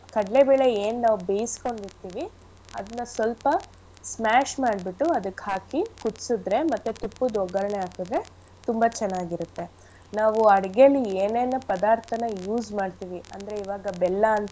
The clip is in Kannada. ಕಡ್ಲೆಬೇಳೆ ನಾವ್ ಏನ್ ಬೇಯಿಸ್ಕೊಂಡಿರ್ತಿವಿ ಅದನ್ನ ಸೊಲ್ಪ smash ಮಾಡ್ಬಿಟು ಅದಕ್ ಹಾಕಿ ಕುದ್ಸಿದ್ರೆ ಮತ್ತೆ ತುಪ್ಪದ್ ಒಗ್ಗರಣೆ ಹಾಕಿದ್ರೆ ತುಂಬಾ ಚೆನ್ನಾಗಿರತ್ತೆ. ನಾವು ಅಡ್ಗೆಲಿ ಏನೇನ್ ಪದಾರ್ಥನ use ಮಾಡ್ತಿವಿ ಅಂದ್ರೆ ಈವಾಗ ಬೆಲ್ಲ ಅಂತ.